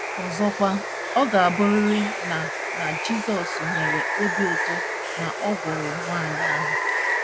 Ọzọkwa, ọ ga - abụrịrị na na Jizọs nwere obi ụtọ na ọ gwọrọ nwaanyị ahụ!